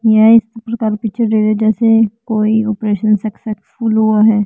यह इस प्रकार पीछे जैसे कोई ऑपरेशन सक्सेसफुल हुआ है।